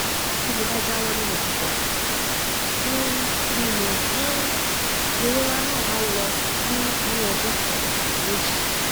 bí mo bá jáwọ nínú sìgá um mímu um ìrora náà á lọ ní ní ọjọ kan tàbí méjì